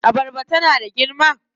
Abarbar tana da girma?